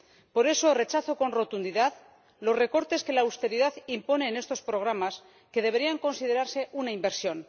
Por eso rechazo con rotundidad los recortes que la austeridad impone en estos programas, que deberían considerarse una inversión.